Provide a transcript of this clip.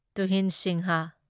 ꯇꯨꯍꯤꯟ Singh